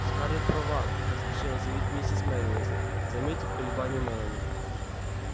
скарлетт права поспешила заявить миссис мерриуэзер заметив колебания мелани